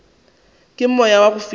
ke moya wa go fiša